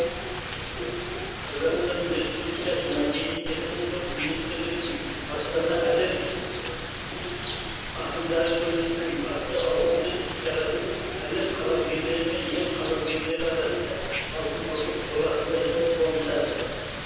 қазақстан республикасы мәдениет және спорт министрлігінің астана әлем ақындары көзіменен атты ауқымды іс шарасы әлем қаламгерлері мен ел қаламгерлері арасында алтын көпір болатындығымен қуантады